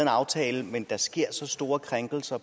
aftale men der sker så store krænkelser